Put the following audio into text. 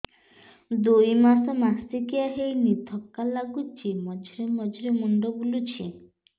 ଦୁଇ ମାସ ମାସିକିଆ ହେଇନି ଥକା ଲାଗୁଚି ମଝିରେ ମଝିରେ ମୁଣ୍ଡ ବୁଲୁଛି